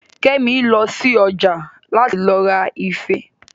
Kẹ́mi lọ sí ọjà láti lọ ra ife